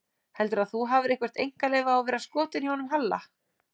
Heldurðu að þú hafir eitthvert einkaleyfi á að vera skotin í honum Halla?